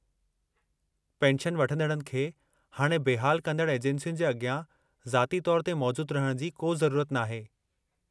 Pension वठंदड़नि खे हाणे बेहाल कंदड़ु एजेंसियुनि जे अगि॒यां ज़ाती तौरु ते मौजूदु रहिणु जी को ज़रूरत नाहे।